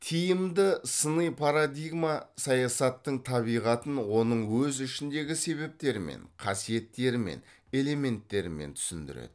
тиімді сыни парадигма саясаттың табиғатын оның өз ішіндегі себептермен қасиеттермен элементтермен түсіндіреді